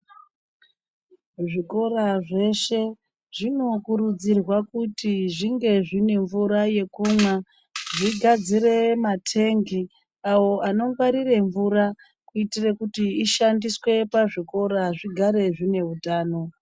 zvikora zveshe zvinokurudzirwa kuti zvinge zvine mvura yekumwa zvigadzire matengi awo anongwarire mvura kuitire kuti ishandiswe pazvikora zvigare zvine utano.